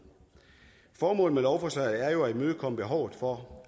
formålet med lovforslaget er jo at imødekomme behovet for